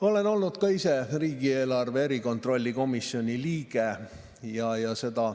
Olen olnud ise riigieelarve kontrolli erikomisjoni liige.